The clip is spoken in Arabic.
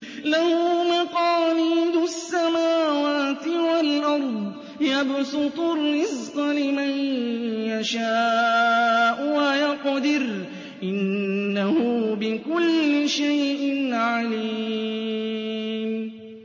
لَهُ مَقَالِيدُ السَّمَاوَاتِ وَالْأَرْضِ ۖ يَبْسُطُ الرِّزْقَ لِمَن يَشَاءُ وَيَقْدِرُ ۚ إِنَّهُ بِكُلِّ شَيْءٍ عَلِيمٌ